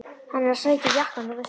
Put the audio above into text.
Hann er að sækja jakkann þú veist.